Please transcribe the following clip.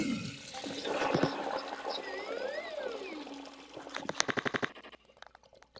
Sif. hlustaðu á mig. það gerist ekkert!